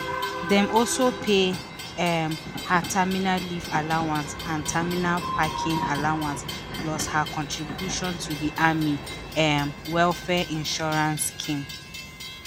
dem also pay um her terminal leave allowance and terminal packing allowance plus her contribution to di army um welfare insurance scheme.